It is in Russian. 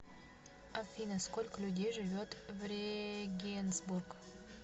афина сколько людей живет в регенсбург